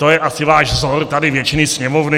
To je asi váš vzor, tady většiny Sněmovny.